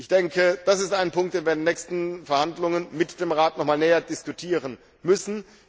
Ich denke, das ist ein Punkt, den wir in den nächsten Verhandlungen mit dem Rat noch einmal näher diskutieren müssen.